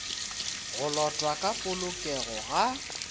go lotwa ka polokego ga